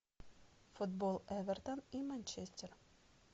футбол эвертон и манчестер